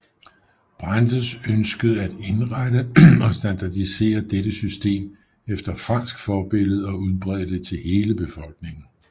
Brandes ønskede at ensrette og standardisere dette system efter fransk forbillede og udbrede det til hele befolkningen